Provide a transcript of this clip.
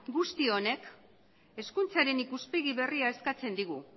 guzti honek hezkuntzaren ikuspegi berria eskatzen digu